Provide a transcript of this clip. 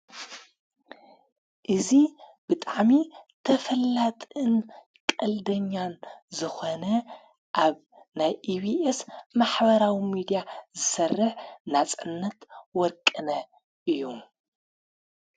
እዙ ብጣዕሚ ተፈላጥን ቐልደኛን ዝኾነ ኣብ ናይ ኢብኤስ ማሕበራዊ ሚዲያ ዝሠርህ ናጸነት ወርቅነ እዩ።